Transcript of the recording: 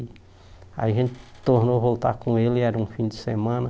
Aí a gente tornou voltar com ele, era um fim de semana.